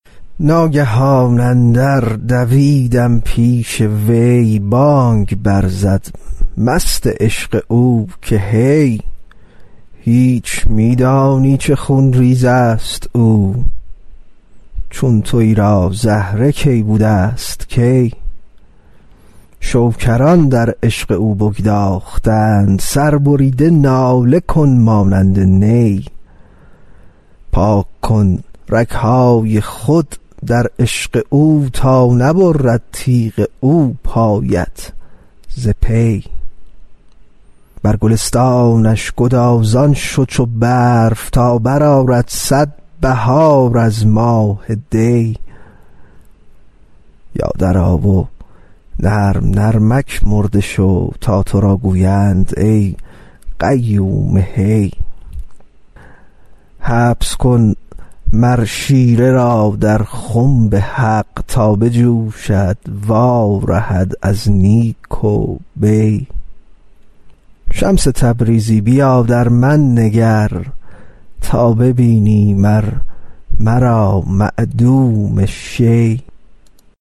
ناگهان اندر دویدم پیش وی بانگ برزد مست عشق او که هی هیچ می دانی چه خون ریز است او چون توی را زهره کی بوده ست کی شکران در عشق او بگداختند سربریده ناله کن مانند نی پاک کن رگ های خود در عشق او تا نبرد تیغ او پایت ز پی بر گلستانش گدازان شو چو برف تا برآرد صد بهار از ماه دی یا درآ و نرم نرمک مرده شو تا تو را گویند ای قیوم حی حبس کن مر شیره را در خنب حق تا بجوشد وارهد از نیک و بی شمس تبریزی بیا در من نگر تا ببینی مر مرا معدوم شی